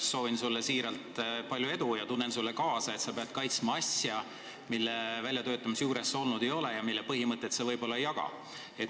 Soovin sulle siiralt palju edu ja tunnen sulle kaasa, et pead nüüd kaitsma asja, mille väljatöötamise juures sa olnud ei ole ja mille põhimõtet sa võib-olla õigeks ei pea.